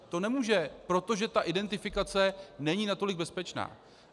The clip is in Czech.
To nemůže, protože ta identifikace není natolik bezpečná.